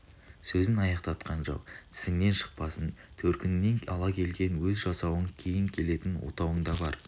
сөзін аяқтатқан жоқ тісіңнен шықпасын төркініңнен ала келген өз жасауың кейін келетін отауың да бар